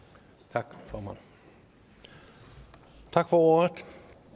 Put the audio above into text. tak formand tak for ordet